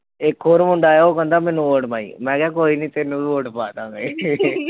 ਇੱਕ ਹੋਰ ਮੁੰਡਾ ਆਇਆ, ਉਹ ਕਹਿੰਦਾ ਮੈਨੂੰ vote ਪਾਈ ਮੈਂ ਕਿਹਾ ਕੋਈ ਨੀ ਤੈਨੂੰ ਵੀ vote ਪਾ ਦੇਵਾਂਗੇ